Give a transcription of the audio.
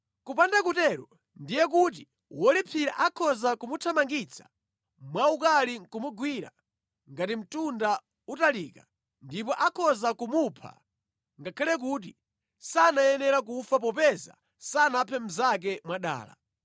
Kupanda kutero ndiye kuti wolipsira akhoza kumuthamangitsa mwaukali ndi kumugwira ngati mtunda utalika, ndipo akhoza kumupha ngakhale kuti sanayenera kufa popeza sanaphe mnzake mwadala.